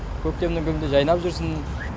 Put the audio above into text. көктемнің күнінде жайнап жүрсін